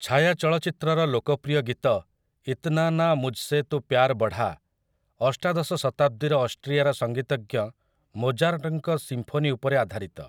ଛାୟା ଚଳଚ୍ଚିତ୍ରର ଲୋକପ୍ରିୟ ଗୀତ 'ଇତ୍ନା ନା ମୁଝସେ ତୁ ପ୍ୟାର୍ ବଢ଼ା' ଅଷ୍ଟାଦଶ ଶତାବ୍ଦୀର ଅଷ୍ଟ୍ରିଆର ସଙ୍ଗୀତଜ୍ଞ ମୋଜାର୍ଟଙ୍କ ସିମ୍ଫୋନି ଉପରେ ଆଧାରିତ ।